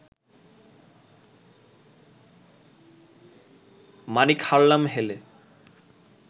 মাণিক হারালাম হেলে